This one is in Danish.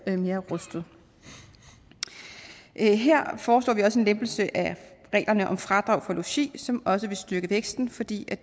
mere rustet her her foreslår vi også en lempelse af reglerne om fradrag for logi som også vil styrke væksten fordi